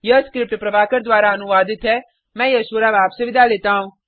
यह स्क्रिप्ट प्रभाकर द्वारा अनुवादित है मैं यश वोरा अब आपसे विदा लेता हूँ